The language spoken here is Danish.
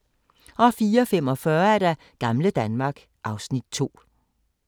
04:45: Gamle Danmark (Afs. 2)